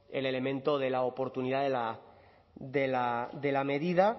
el elemento de la oportunidad de la medida